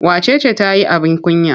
Wace ce ta yi abin kunya?